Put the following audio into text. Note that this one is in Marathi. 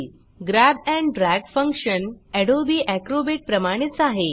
grab and drag function Adobe Acrobat प्रमाणेच आहे